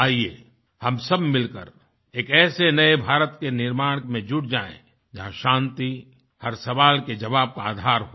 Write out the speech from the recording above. आइये हम सब मिल करएक ऐसे नए भारत के निर्माण में जुट जाएँ जहाँ शांति हर सवाल के जवाब का आधार हो